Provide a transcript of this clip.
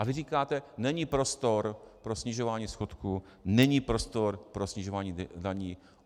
A vy říkáte: Není prostor pro snižování schodku, není prostor pro snižování daní.